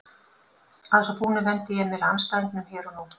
Að svo búnu vendi ég mér að andstæðingunum hér og nú.